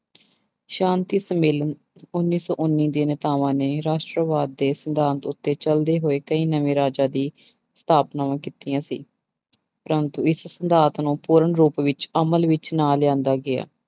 ਸ਼ਾਂਤੀ ਸੰਮੇਲਨ ਉੱਨੀ ਸੌ ਉੱਨੀ ਦੇ ਨੇਤਾਵਾਂ ਨੇ ਰਾਸ਼ਟਰਵਾਦ ਦੇ ਸਿਧਾਂਤ ਉੱਤੇ ਚੱਲਦੇ ਹੋਏ ਕਈ ਨਵੇਂ ਰਾਜਾਂ ਦੀ ਸਥਾਪਨਾਵਾਂ ਕੀਤੀਆਂ ਸੀ ਪ੍ਰੰਤੂ ਇਸ ਸਿਧਾਂਤ ਨੂੰ ਪੂਰਨ ਰੂਪ ਵਿੱਚ ਅਮਲ ਵਿੱਚ ਨਾ ਲਿਆਂਦਾ ਗਿਆ।